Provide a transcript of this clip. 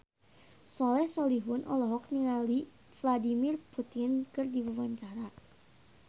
Soleh Solihun olohok ningali Vladimir Putin keur diwawancara